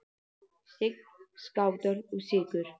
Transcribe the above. Sign, Skátar og Sykur.